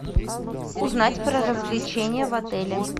узнать про развлечения в отеле